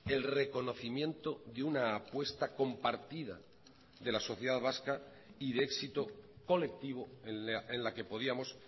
el reconocimiento de una apuesta compartida de la sociedad vasca y de éxito colectivo en la que podíamos